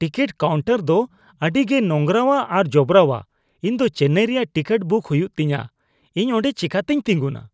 Ticket counter ᱫᱚ ᱟᱹᱰᱤᱜᱮ ᱱᱳᱝᱨᱟᱣᱟ ᱟᱨ ᱡᱚᱵᱨᱟᱣᱟ ᱾ ᱤᱧ ᱫᱚ ᱪᱮᱱᱱᱟᱭ ᱨᱮᱭᱟᱜ ᱴᱤᱠᱤᱴ ᱵᱩᱠ ᱦᱩᱭᱩᱜ ᱛᱤᱧᱟ, ᱤᱧ ᱚᱰᱮᱸ ᱪᱤᱠᱟᱹᱛᱤᱧ ᱛᱤᱸᱜᱩᱱᱟ ?